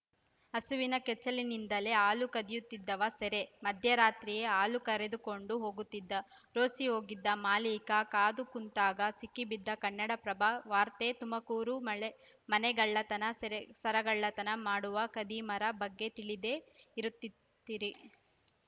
ಹಸುವಿನ ಕೆಚ್ಚಲಿನಿಂದಲೇ ಹಾಲು ಕದಿಯುತ್ತಿದ್ದವ ಸೆರೆ ಮಧ್ಯರಾತ್ರಿಯೇ ಹಾಲು ಕರೆದುಕೊಂಡು ಹೋಗ್ತಿದ್ದ ರೋಸಿ ಹೋಗಿದ್ದ ಮಾಲಕಿ ಕಾದು ಕುಂತಾಗ ಸಿಕ್ಕಿಬಿದ್ದ ಕನ್ನಡಪ್ರಭ ವಾರ್ತೆ ತುಮಕೂರು ಮಳೆ ಮನೆಗಳ್ಳತನಸೆರೆ ಸರಗಳ್ಳತನ ಮಾಡುವ ಖದೀಮರ ಬಗ್ಗೆ ತಿಳಿದೇ ಇರುತ್ ತ್ತೀರಿ